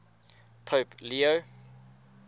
pope leo